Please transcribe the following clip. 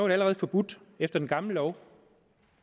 det allerede forbudt efter den gamle lov